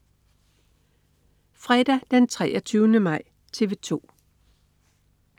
Fredag den 23. maj - TV 2: